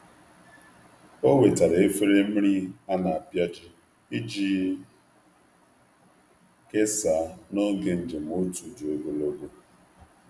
Ọ wetara efere mmiri a na-apịaji iji kesaa n’oge njem otu dị ogologo.